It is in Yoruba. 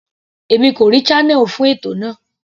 Èmi kò rí channel fún ètò náà.